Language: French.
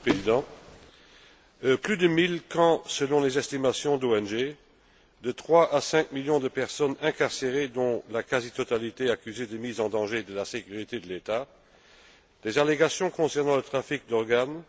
Monsieur le Président, plus de mille camps, selon les estimations des ONG, de 3 à 5 millions de personnes incarcérées dont la quasi totalité accusées de mise en danger de la sécurité de l'État, des allégations concernant le trafic d'organes.